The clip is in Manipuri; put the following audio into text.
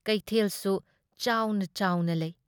ꯀꯩꯊꯦꯜꯁꯨ ꯆꯥꯎꯅ ꯆꯥꯎꯅ ꯂꯩ ꯫